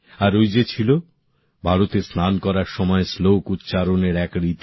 আর ওই যে ছিল ভারতে স্নান করার সময় শ্লোক উচ্চারণের এক রীতি